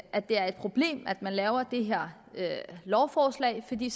at det er et problem at man laver det her lovforslag fordi